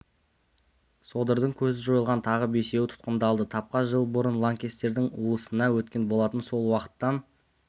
содырдың көзі жойылған тағы бесеуі тұтқындалды табка жыл бұрын лаңкестердің уысына өткен болатын сол уақыттан